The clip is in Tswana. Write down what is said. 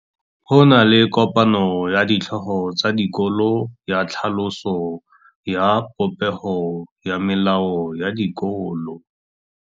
Go na le kopanô ya ditlhogo tsa dikolo ya tlhaloso ya popêgô ya melao ya dikolo.